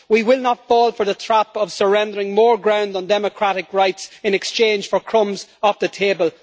We will not fall for the trap of surrendering more ground on democratic rights in exchange for crumbs off the table.